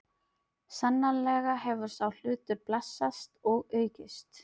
Sannarlega hefur sá hlutur blessast og aukist.